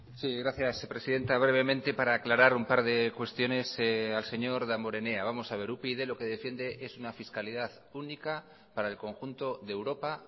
sí gracias presidenta brevemente para aclarar un par de cuestiones al señor damborenea vamos a ver upyd lo que defiende es una fiscalidad única para el conjunto de europa